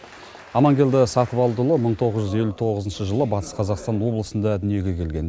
амангелді сатыбалдыұлы мың тоғыз жүз елу тоғызыншы жылы батыс қазақстан облысында дүниеге келген